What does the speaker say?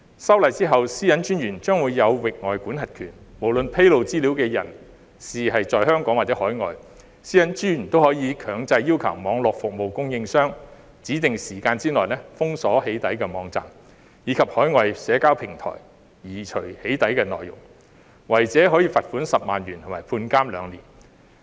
修例後，私隱專員將有域外管轄權；無論披露資料的人在香港或海外，私隱專員都可以強制要求網絡服務供應商在指定時間內封鎖"起底"網站，以及海外社交平台移除"起底"內容，違者可處以罰款10萬元和監禁兩年。